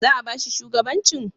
Za'a ba shi shugabancin?